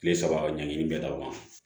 Kile saba ka ɲangini bɛ d'aw ma